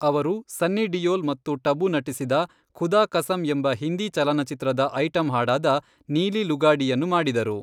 ಅವರು ಸನ್ನಿ ಡಿಯೋಲ್ ಮತ್ತು ಟಬು ನಟಿಸಿದ ಖುದಾ ಕಸಮ್ ಎಂಬ ಹಿಂದಿ ಚಲನಚಿತ್ರದ ಐಟಂ ಹಾಡಾದ ,ನೀಲಿ ಲುಗಾಡಿಯನ್ನು ಮಾಡಿದರು.